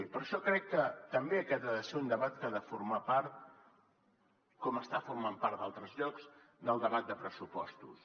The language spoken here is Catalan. i per això crec que també aquest ha de ser un debat que ha de formar part com està formant part d’altres llocs del debat de pressupostos